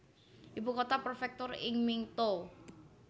Ibu kota prefektur ing Mito